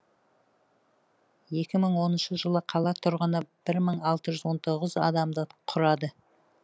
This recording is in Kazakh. екі мың оныншы жылы қала тұрғыны бір мың алты жүз он тоғыз адамды құрады